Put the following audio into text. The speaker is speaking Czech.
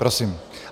Prosím.